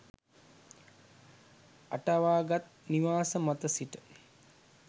අටවාගත් නිවාස මත සිට